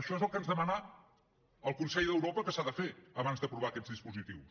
això és el que ens demana el consell d’europa que s’ha de fer abans d’aprovar aquests dispositius